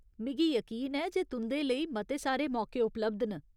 मिगी यकीन ऐ जे तुं'दे लेई मते सारे मौके उपलब्ध न।